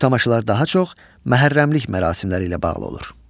Bu tamaşalar daha çox məhərrəmlik mərasimləri ilə bağlı olur.